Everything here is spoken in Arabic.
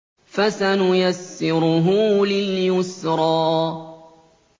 فَسَنُيَسِّرُهُ لِلْيُسْرَىٰ